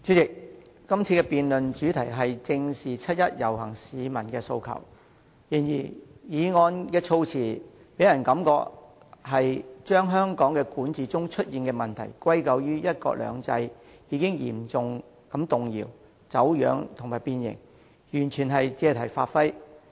主席，今次辯論的主題是"正視七一遊行市民的訴求"，但議案的措辭令人感到動議議案的議員把香港管治中出現的問題，歸咎於"一國兩制"嚴重動搖、走樣和變形，完全是借題發揮。